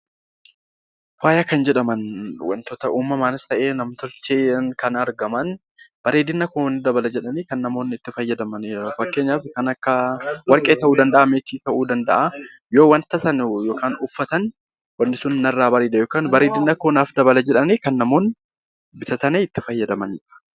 Faaya kan jedhaman wantoota uumamaanis ta'ee nam-tolcheen kan argaman bareedina koo ni dabala jedhanii namoonni itti fayyadamanidha. Fakkeenyaaf kan akka warqee ta'uu danda'a meetii ta'uu danda'a yoo wanta sana hojjatan narraa bareeda yookaan bareedina koo dabala jedhanii bitatanii itti fayyadamanidha